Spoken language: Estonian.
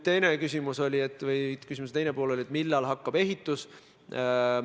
Küsimuse teine pool oli, millal hakkab ehitus.